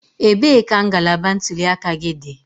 Ebee ka ngalaba ntuli aka gị dị?